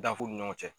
Danfu ni ɲɔgɔn cɛ